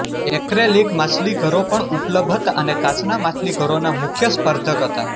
acrylic માછલીઘરો પણ ઉપલબ્ધ હતા અને કાચના માછલીઘરોના મુખ્ય સ્પર્ધક હતા